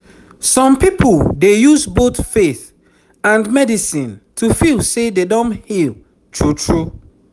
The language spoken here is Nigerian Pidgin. some people dey use both faith and medicine to feel say dem don heal true true